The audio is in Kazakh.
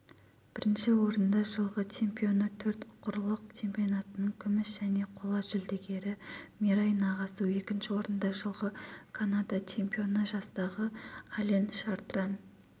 бірінші орында жылғы чемпионы төрт құрлық чемпионатының күміс және қола жүлдегері мираи нагасу екінші орында жылғы канада чемпионы жастағы ален шартран